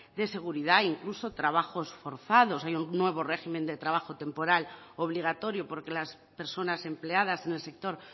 de seguridad incluso trabajos forzados hay un nuevo régimen de trabajo temporal obligatorio porque las personas empleadas en el sector